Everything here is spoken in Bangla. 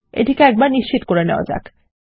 এটিকে একবার নিশ্চিত করে নেওয়া যাক